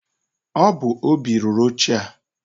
Ọ bu Óbị rụrụ oche a.